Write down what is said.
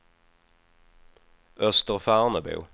Österfärnebo